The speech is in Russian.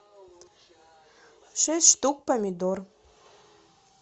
шесть штук помидор